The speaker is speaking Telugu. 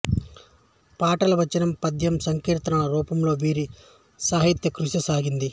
పాటలు వచనం పద్యం సంకీర్తనల రూపంలో వీరి సాహిత్య కృషి సాగింది